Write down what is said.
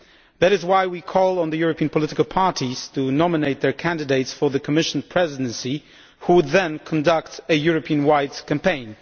That is why we call on the European political parties to nominate their candidates for the Commission presidency, who would in turn conduct a Europe wide campaign.